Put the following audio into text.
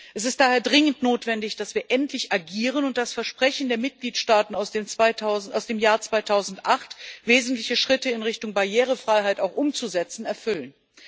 Es ist daher dringend notwendig, dass wir endlich agieren und das Versprechen der Mitgliedstaaten aus dem Jahr 2008, wesentliche Schritte in Richtung Barrierefreiheit auch umzusetzen, erfüllen.